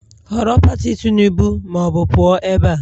Họrọ Pati Tinubu ma ọ bụ pụọ ebe a!